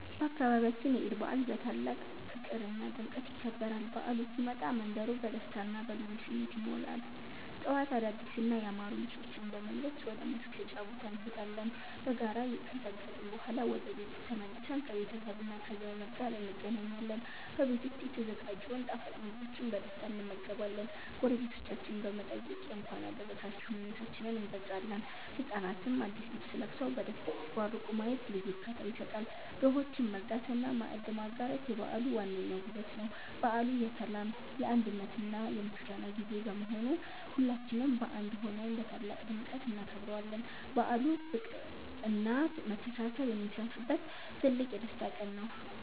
በአካባቢያችን የዒድ በዓል በታላቅ ፍቅርና ድምቀት ይከበራል። በዓሉ ሲመጣ መንደሩ በደስታና በልዩ ስሜት ይሞላል። ጠዋት አዳዲስና ያማሩ ልብሶችን በመልበስ ወደ መስገጃ ቦታ እንሄዳለን። በጋራ ከሰገድን በኋላ ወደ ቤት ተመልሰን ከቤተሰብና ከዘመድ ጋር እንገናኛለን። በቤት ዉስጥ የተዘጋጀውን ጣፋጭ ምግቦችን በደስታ እንመገባለን። ጎረቤቶቻችንን በመጠየቅ የእንኳን አደረሳችሁ ምኞታችንን እንገልጻለን። ህጻናትም አዲስ ልብስ ለብሰው በደስታ ሲቦርቁ ማየት ልዩ እርካታ ይሰጣል። ድሆችን መርዳትና ማዕድ ማጋራት የበዓሉ ዋነኛው ውበት ነው። በዓሉ የሰላም፣ የአንድነትና የምስጋና ጊዜ በመሆኑ ሁላችንም በአንድ ሆነን በታላቅ ድምቀት እናከብረዋለን። በዓሉ ፍቅርና መተሳሰብ የሚሰፍንበት ትልቅ የደስታ ቀን ነው።